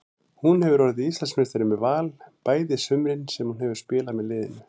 Hún hefur orðið Íslandsmeistari með Val bæði sumurin sem hún hefur spilað með liðinu.